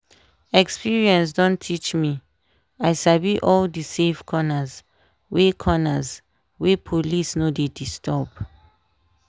experience don teach me i sabi all the safe corners wey corners wey police no dey disturb.